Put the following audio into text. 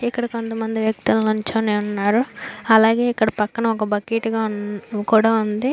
ఇక్కడ కొంత మంది వ్యక్తిలు నిలుచుకొని ఉన్నారు అలాగే ఇక్కడ పక్కన ఒక బకెట్ కొడ ఉంది --